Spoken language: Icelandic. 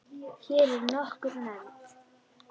Hér eru nokkur nefnd